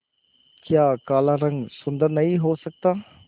क्या काला रंग सुंदर नहीं हो सकता